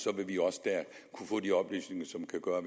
vil vi også der kunne få de oplysninger som kan gøre at